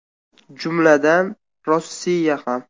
Jumladan, Rossiya ham.